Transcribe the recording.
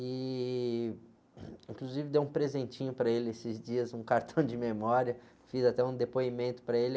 e inclusive dei um presentinho para ele esses dias, um cartão de memória, fiz até um depoimento para ele.